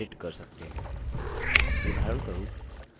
उदाहरणस्वरूप हम slides की डिजाइन बदल सकते हैं